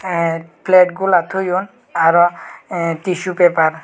te plate golak toyon aaro tissu paper.